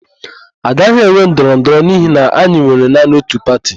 A gaghị enwe ndọrọndọrọ n'ihi na anyị nwere naanị ótù pati.